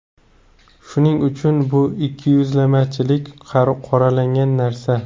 Shuning uchun bu ikkiyuzlamachilik qoralangan narsa.